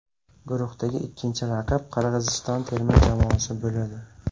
Guruhdagi ikkinchi raqib Qirg‘iziston terma jamoasi bo‘ladi.